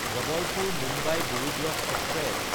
জবলপুৰ–মুম্বাই গৰিবৰথ express